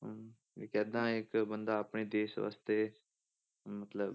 ਹਮ ਵੀ ਕਿੱਦਾਂ ਇੱਕ ਬੰਦਾ ਆਪਣੇ ਦੇਸ ਵਾਸਤੇ ਮਤਲਬ,